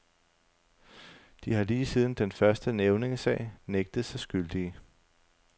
De har lige siden den første nævningesag nægtet sig skyldige.